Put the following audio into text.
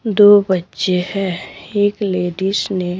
दो बच्चे हैं एक लेडीश ने--